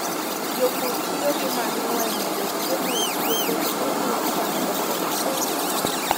Jopur tiyo gi manyiwa e medo chiemo e puothe kendo miyo cham dongo maber.